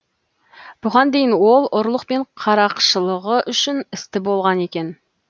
бұған дейін ол ұрлық пен қарақшылығы үшін істі болған екен